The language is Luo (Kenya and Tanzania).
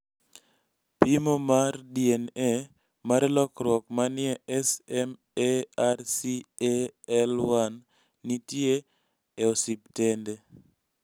pimo mar DNA mar lokruok manie SMARCAL1 nitie e ospitende